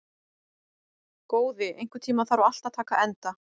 Góði, einhvern tímann þarf allt að taka enda.